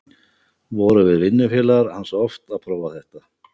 Vorum við vinnufélagar hans oft að prófa þetta.